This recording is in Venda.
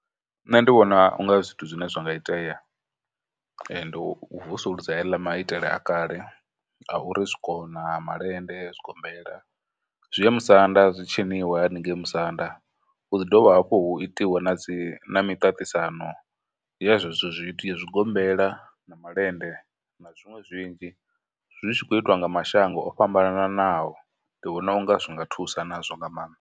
Nṋe ndi vhona u nga zwithu zwine zwa nga itea , ndi u vusuludza heḽa maitele a kale a uri zwikona, malende, zwigombela, zwi ye musanda, zwi tshiniwe haningei musanda, hu ḓi dovha hafhu hu itiwe na dzi, na miṱaṱisano ya zwezwo zwithu, ya zwigombela, na malende, na zwiṅwe zwinzhi zwi tshi khou itiwa nga mashango o fhambananaho, ndi vhona u nga zwi nga thusa nazwo nga maanḓa.